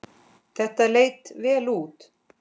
Þetta leit vel út.